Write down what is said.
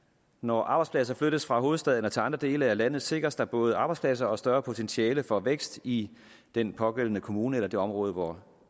når arbejdspladser flyttes fra hovedstaden til andre dele af landet sikres der både arbejdspladser og større potentiale for vækst i den pågældende kommune eller det område hvor